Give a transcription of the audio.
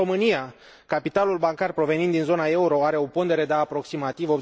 În România, capitalul bancar provenind din zona euro are o pondere de aproximativ